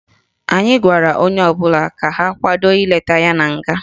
Anyị gwara onye ọbụla ka ha kwado ileta ya na nga